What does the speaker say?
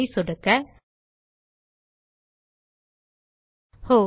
ஐ சொடுக்க ஒஹ்